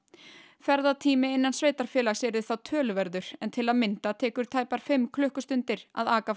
ferðatími innan sveitarfélags yrði þá töluverður en til að mynda tekur tæpar fimm klukkustundir að aka frá